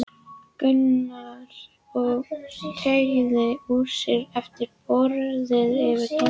Gunnar og teygði úr sér eftir bogrið yfir dollunum.